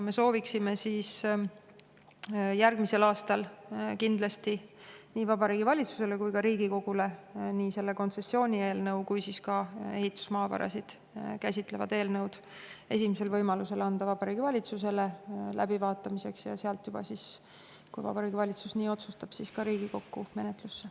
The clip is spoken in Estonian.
Me sooviksime järgmisel aastal nii selle kontsessioonieelnõu kui ka ehitusmaavarasid käsitlevad eelnõud kindlasti esimesel võimalusel anda Vabariigi Valitsusele läbivaatamiseks ja sealt, kui Vabariigi Valitsus nii otsustab, ka Riigikokku menetlusse.